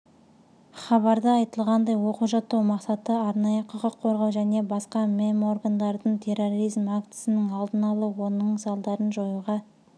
хабарда айтылғандай оқу-жаттығу мақсаты арнайы құқыққорғау және басқа меморгандардың терроризм актісінің алдын алу оның салдарын жоюға